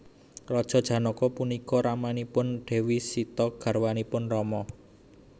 Raja Janaka punika ramanipun Dewi Sita garwanipun Rama